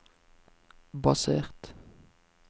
basert